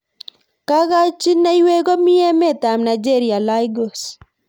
Kakochineiywek ko mi emet ab Nigeria lagos.